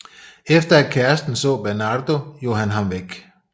Efter at kærsten så Bernardo jog han ham væk